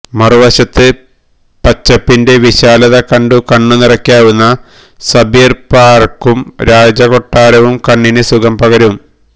മറുവശത്ത് പച്ചപ്പിന്റെ വിശാലത കണ്ടു കണ്ണു നിറയ്ക്കാവുന്ന സബീല് പാര്ക്കും രാജകൊട്ടാരവും കണ്ണിന് സുഖം പകരും